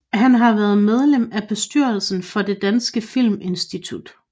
Han har været medlem af bestyrelsen for Det danske Filminstitut